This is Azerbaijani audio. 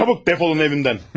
Çabuk def olun evimdən!